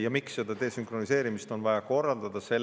Ja miks see desünkroniseerimine on vaja korraldada?